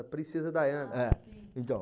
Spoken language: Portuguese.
A princesa Daiana. É então.